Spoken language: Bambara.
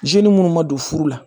minnu ma don furu la